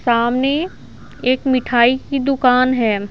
सामने एक मिठाई की दुकान है।